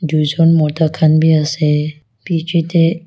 Duijan mota khan bhi ase bechidae--